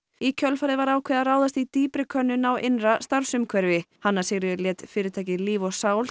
í kjölfarið var ákveðið að ráðast í dýpri könnun á innra starfsumhverfi hanna Sigríður lét fyrirtækið Líf og sál